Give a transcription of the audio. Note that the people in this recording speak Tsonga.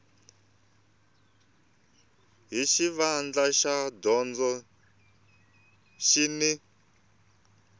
hi xivandla xa dyondzo xin